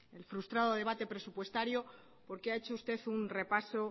el frustrado debate presupuestario porque ha hecho usted un repaso